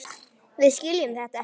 Við skiljum þetta ekki.